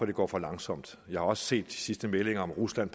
det går for langsomt jeg har også set de sidste meldinger om at rusland